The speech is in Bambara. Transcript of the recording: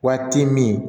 Waati min